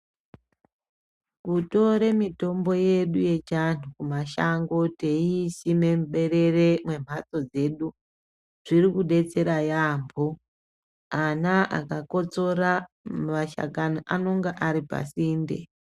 Kutore mitombo yedu yechi antu kumashango teyisime mberere mumhatso dzedu zvirikudetsera yambo. Ana akakotsora mashakani anonga aripasende.